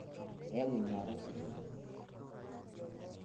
keyau enyauata osiligi